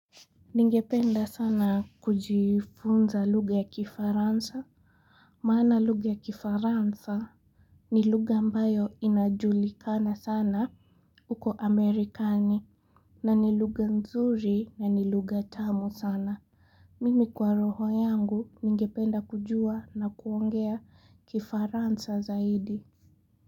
Ningependa sana kujifunza luga ya kifaransa Maana luga ya kifaransa ni luga ambayo inajulikana sana uko amerikani na ni luga nzuri na ni luga tamu sana Mimi kwa roho yangu ningependa kujua na kuongea kifaransa zaidi.